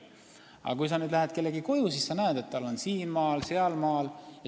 Aga kui sa lähed kellegi koju, siis sa näed, et inimesel on siin maal ja seal maal.